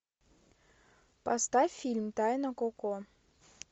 поставь фильм тайна коко